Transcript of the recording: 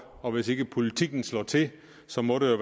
og hvis ikke politikken slår til så må det